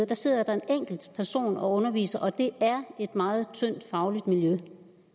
der sidder der en enkelt person og underviser og det er et meget tyndt fagligt miljø